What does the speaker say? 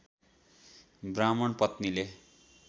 ब्राह्मण पत्नीले